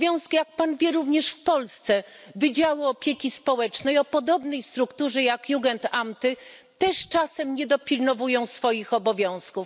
Jak Pan wie, również w Polsce wydziały opieki społecznej o podobnej strukturze jak Jugendamty też czasem nie dopilnowują swoich obowiązków.